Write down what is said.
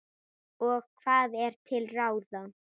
Og hvað er til ráða?